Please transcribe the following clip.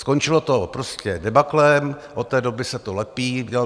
Skončilo to prostě debaklem, od té doby se to lepí.